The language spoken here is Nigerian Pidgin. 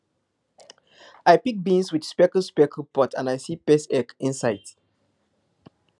i pick beans with speckled speckled pods and i see pest eggs inside